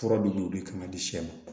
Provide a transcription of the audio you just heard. Fura dɔ bɛ yen o de kan ka di sɛ ma